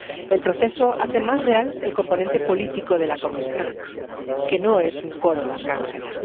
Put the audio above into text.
El proceso hace más real el componente político de la Comisión, que no es un coro de arcángeles.